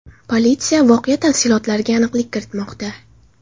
Politsiya voqea tafsilotlariga aniqlik kiritmoqda.